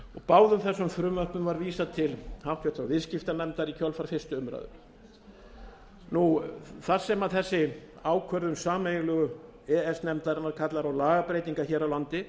báðum þessum frumvörpum var vísað til háttvirtrar viðskiptanefndar í kjölfar fyrstu umræðu þar sem þessi ákvörðun sameiginlegu e e s nefndarinnar kallar á lagabreytingar hér á landi